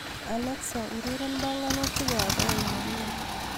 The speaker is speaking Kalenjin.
Alexa ureren banganutik ab aeng nenyu